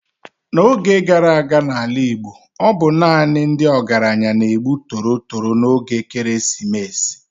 N'oge gara aga n'ala Igbo, ọ bụ naanị ndị ọgaranya na-egbu torotoro n'oge ekeresimesi.